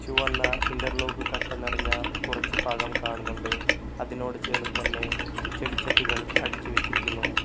വന്നാൽ interlock കട്ടൻ നിറഞ്ഞ കുറച്ച് ഭാഗം കാണുന്നുണ്ട് അതിനോട് ചേർന്ന് തന്നെ ചെടിച്ചട്ടികൾ അടിച്ചു വെച്ചിരിക്കുന്നു.